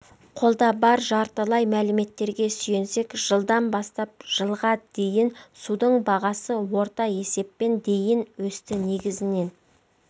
қолда бар жартылай мәліметтерге сүйенсек жылдан бастап жылға дейін судың бағасы орта есеппен дейін өсті негізінен